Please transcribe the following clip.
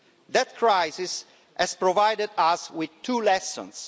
That crisis has provided us with two lessons.